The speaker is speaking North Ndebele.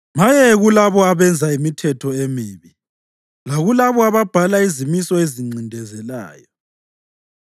Maye kulabo abenza imithetho emibi, lakulabo ababhala izimiso ezincindezelayo,